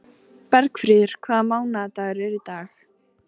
Bergfríður, hvaða mánaðardagur er í dag?